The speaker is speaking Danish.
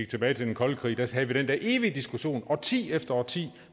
tilbage til den kolde krig kan vi den der evige diskussion om årti efter årti